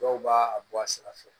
Dɔw b'a bɔ a sira fɛ